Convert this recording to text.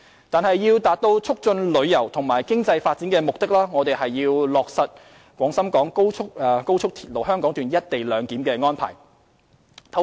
但是，要達到促進旅遊和經濟發展的目的，我們要落實高鐵"一地兩檢"安排。